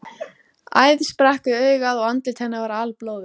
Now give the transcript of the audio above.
Æð sprakk við augað og andlit hennar var alblóðugt.